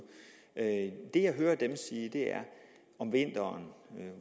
det jeg hører dem sige om vinteren